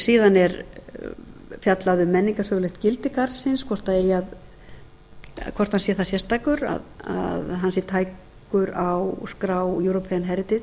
síðan er fjallað um menningarsögulegt gildi garðsins hvort hann sé það sérstakur að hann sé tækur á skrá european